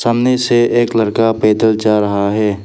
से एक लड़का पैदल जा रहा है।